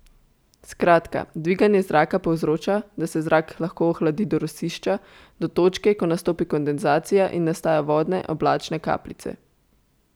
Skratka, dviganje zraka povzroča, da se zrak lahko ohladi do rosišča, do točke, ko nastopi kondenzacija in nastajajo vodne, oblačne kapljice.